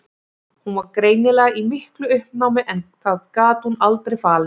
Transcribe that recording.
Hún var greinilega í miklu uppnámi en það gat hún aldrei falið.